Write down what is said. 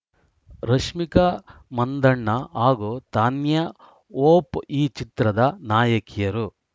ರಶ್ಮಿಕಾ ಮಂದಣ್ಣ ಹಾಗೂ ತಾನ್ಯಾ ಹೋಪ್‌ ಈ ಚಿತ್ರದ ನಾಯಕಿಯರು